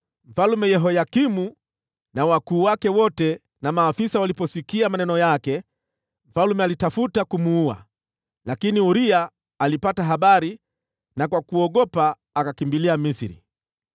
Mfalme Yehoyakimu na wakuu wake wote na maafisa waliposikia maneno yake, mfalme alitafuta kumuua. Lakini Uria alipata habari, na kwa kuogopa akakimbilia Misri.